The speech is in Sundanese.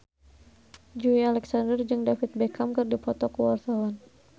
Joey Alexander jeung David Beckham keur dipoto ku wartawan